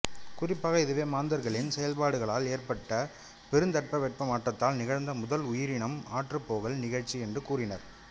குறிப்பாக இதுவே மாந்தர்களின் செயற்பாடுகளால் ஏற்பட்ட பெருந்தட்பவெப்ப மாற்றத்தால் நிகழ்ந்த முதல் உயிரினம் அற்றுப்போகல் நிகழ்ச்சி என்றும் கூறினர்